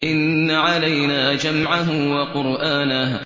إِنَّ عَلَيْنَا جَمْعَهُ وَقُرْآنَهُ